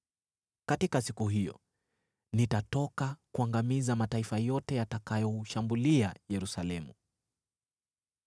Katika siku hiyo nitatoka kuangamiza mataifa yote yatakayoshambulia Yerusalemu.